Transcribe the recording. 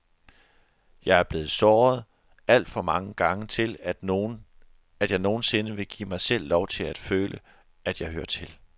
Jeg er blevet såret alt for mange gange til, at jeg nogen sinde vil give mig selv lov til at føle, at jeg hører til.